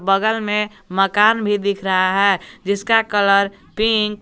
बगल में मकान भी दिख रहा है जिसका कलर पिंक --